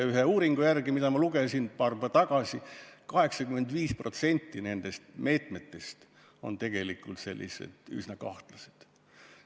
Ühe uuringu järgi, mida ma paar päeva tagasi lugesin, on 85% nendest meetmetest tegelikult üsna kahtlased.